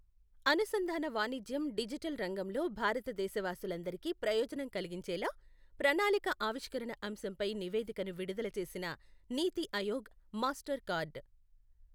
అనుసంధాన వాణిజ్యం డిజిటల్ రంగంలో భారత దేశవాసులందరికీ ప్రయోజనం కలిగించేలా, ప్రణాళిక ఆవిష్కరణ అంశంపై నివేదికను విడుదల చేసిన నీతి ఆయోగ్, మాస్టర్ కార్డ్.